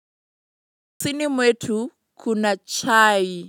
Sini mwetu kuna chai.